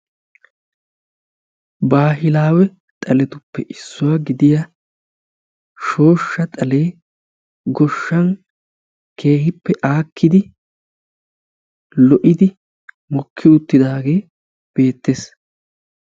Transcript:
Baahilawe xaaletuppe issuwaa gidiyaa shooshsha xalee goshshaan keehippe aakkidi lo"idi mokki uttidaagee beettees.